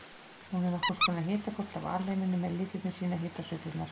Hún er nokkurs konar hitakort af alheiminum en litirnir sýna hitasveiflurnar.